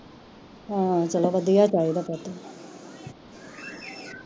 ਹਮ ਚਲੋ ਵਧਿਆ ਚਾਹੀਦਾ ਪੁੱਤ